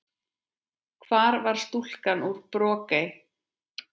Hvar var stúlkan úr Brokey?